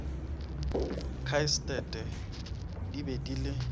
khastate di be di le